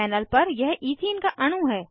panel पर यह ethene का अणु है